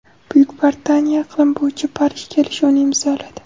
Buyuk Britaniya iqlim bo‘yicha Parij kelishuvini imzoladi.